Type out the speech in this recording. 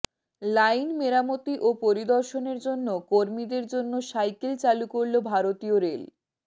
line মেরামতি ও পরিদর্শনের জন্য কর্মীদের জন্য সাইকেল চালু করল ভারতীয় রেল